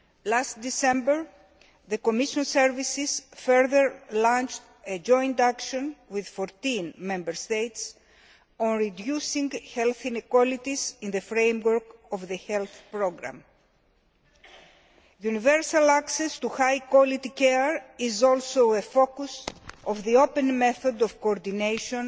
Last December, the Commission services further launched a joint action with 14 Member States on reducing health inequalities in the framework of the health programme. Universal access to high quality care is also a focus of the open method of coordination